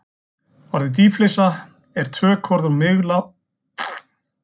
Orðið dýflissa er tökuorð úr miðlágþýsku.